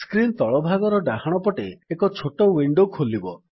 screen ତଳ ଭାଗର ଡାହାଣ ପଟେ ଏକ ଛୋଟ ୱିଣ୍ଡୋ ଖୋଲିବ